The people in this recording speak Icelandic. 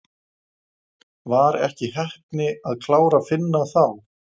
Var ekki heppni að klára Finna þá?